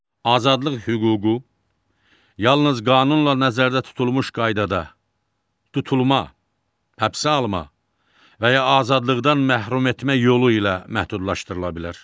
Azadlıq hüququ yalnız qanunla nəzərdə tutulmuş qaydada tutulma, həbsə alma və ya azadlıqdan məhrum etmə yolu ilə məhdudlaşdırıla bilər.